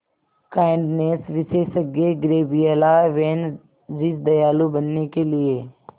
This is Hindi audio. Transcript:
काइंडनेस विशेषज्ञ गैब्रिएला वैन रिज दयालु बनने के लिए